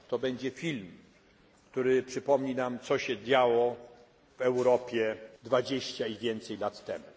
To będzie film, który przypomni nam, co się działo w Europie 20 i więcej lat temu.